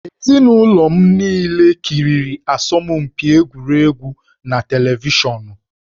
Ezinụlọ m niile kiriri asọmpi egwuregwu na televishọnụ